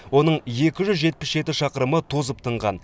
оның екі жүз жетпіс жеті шақырымы тозып тынған